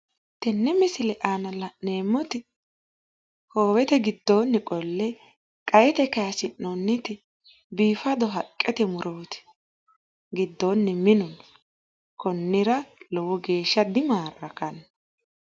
tenne misile aana la'neemmoti hoowete giddooni qolle qa'ete kaayisi'nonniti biifado haqqete murooti. giddoonni minu no. konnira lowo geeshsha dimaarrakanno.